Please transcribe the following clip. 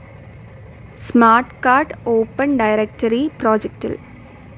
smart card open directory പ്രൊജക്റ്റിൽ